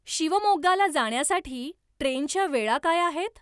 शिवमोग्गाला जाण्यासाठी ट्रेनच्या वेळा काय आहेत